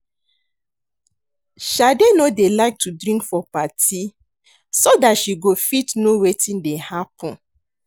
Shade no dey like to drink for party so dat she go fit know wetin dey happen